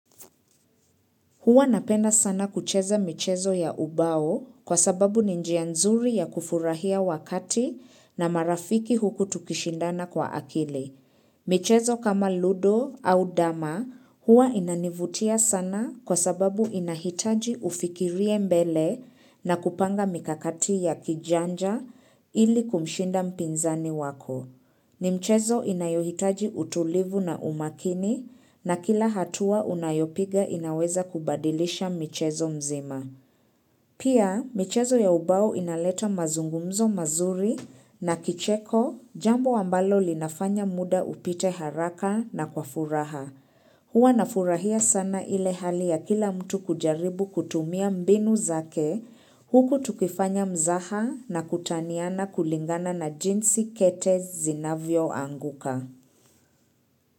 Huwa napenda sana kucheza michezo ya ubao kwa sababu ni njia nzuri ya kufurahia wakati na marafiki huku tukishindana kwa akili. Michezo kama ludo au dama huwa inanivutia sana kwa sababu inahitaji ufikirie mbele na kupanga mikakati ya kijanja ili kumshinda mpinzani wako. Ni mchezo inayohitaji utulivu na umakini na kila hatua unayopiga inaweza kubadilisha mchezo mzima. Pia mchezo ya ubao inaleta mazungumzo mazuri na kicheko jambo ambalo linafanya muda upite haraka na kwa furaha. Huwa nafurahia sana ile hali ya kila mtu kujaribu kutumia mbinu zake huku tukifanya mzaha na kutaniana kulingana na jinsi kete zinavyoanguka.